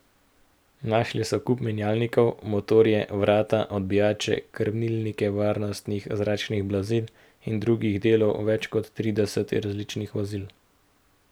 Našli so kup menjalnikov, motorje, vrata, odbijače, krmilnike varnostnih zračnih blazin in drugih delov več kot tridesetih različnih vozil.